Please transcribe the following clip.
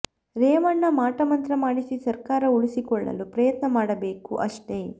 ರೇವಣ್ಣ ಮಾಟ ಮಂತ್ರ ಮಾಡಿಸಿ ಸರ್ಕಾರ ಉಳಿಸಿಕೊಳ್ಳಲು ಪ್ರಯತ್ನ ಮಾಡಬೇಕು ಅಷ್ಟೇ